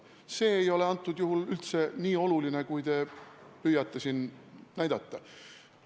See ei ole praegusel juhul üldse nii oluline, kui te püüate siin näidata.